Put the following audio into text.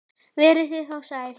Verið þið þá sæl!